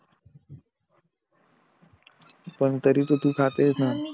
पण तरी तर तू खातेस ना पण मी